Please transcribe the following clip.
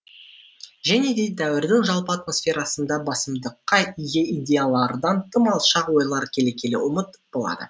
және де дәуірдің жалпы атмосферасында басымдыққа ие идеялардан тым алшақ ойлар келе келе ұмыт болады